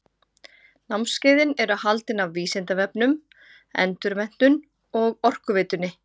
Námskeiðin eru haldin af Vísindavefnum, Endurmenntun og Orkuveitunni.